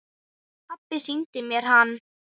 Pabbi sýndi mér hann.